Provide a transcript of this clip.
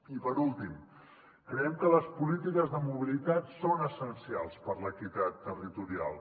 i per últim creiem que les polítiques de mobilitat són essencials per a l’equitat territorial